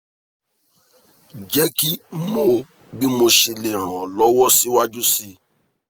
jeki mo bi mosele ran o lowo si waju si